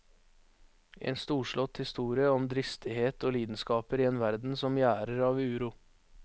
En storslått historie om dristighet og lidenskaper i en verden som gjærer av uro.